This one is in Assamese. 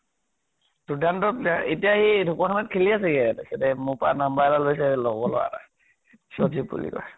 দুৰ্দান্তক player । এতিয়া সি ঢকোৱাখানা ত খেলি আছে ইয়াত । মোৰ পৰা number এটা লৈছে, লগৰ লʼৰা এটা ৰ । সন্জীৱ বুলি কয় ।